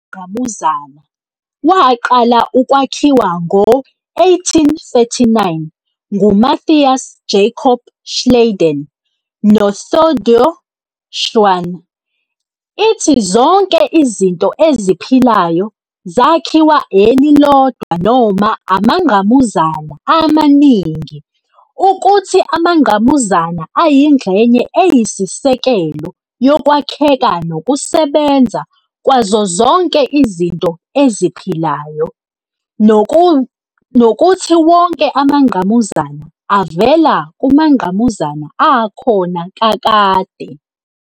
Wengqamuzana, waqala ukwakhiwa ngo-1839 nguMatthias Jakob Schleiden noTheodor Schwann, ithi zonke izinto eziphilayo zakhiwa elilodwa noma amangqamuzana amaningi, ukuthi amangqamuzana ayingxenye eyisisekelo yokwakheka nokusebenza kwazo zonke izinto eziphilayo, nokuthi wonke amangqamuzana avela kumangqamuzana akhona kakade.